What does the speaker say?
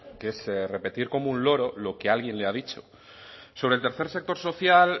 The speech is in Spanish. que es repetir como un loro lo que alguien le ha dicho sobre el tercer sector social